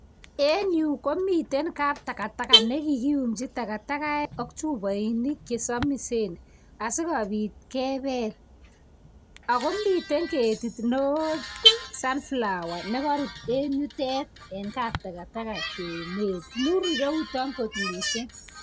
En Yu komiten kabtakataka nekikiyumchi takatagaek akchubainik chesamisen asikobit kebel akomiten ketit neon sunflower nekarut en yutet en kabtakatakaekmur irouton kot mising